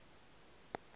a a le b e